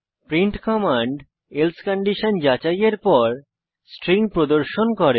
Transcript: print command else condition যাচাইয়ের পর string প্রদর্শন করে